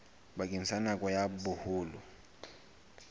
bakeng sa nako ya boholo